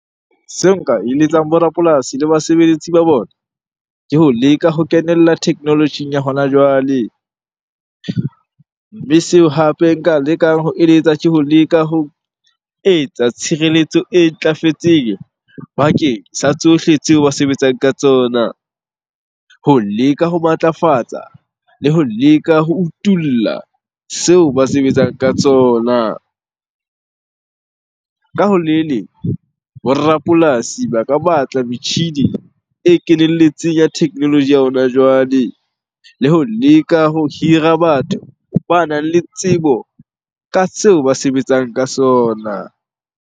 Seo nka eletsang bo rapolasi le basebeletsi ba bona ke ho leka ho kenella technology-ing ya hona jwale. Mme seo hape nka lekang ho eletsa, ke ho leka ho etsa tshireletso e ntlafetseng bakeng sa tsohle tseo ba sebetsang ka tsona. Ho leka ho matlafatsa le ho leka ho utulla seo ba sebetsang ka tsona. Ka ho le leng, bo rapolasi ba ka batla metjhini e kenelletseng ya technology ya hona jwale, le ho leka ho hira batho banang le tsebo ka seo ba sebetsang ka sona.